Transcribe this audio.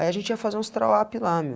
Aí a gente ia fazer uns (trawap) lá, meu.